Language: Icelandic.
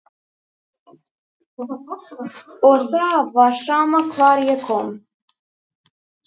Þau voru ekki goðsaga og afkoman olli þeim meiri heilabrotum en tilfinningarnar.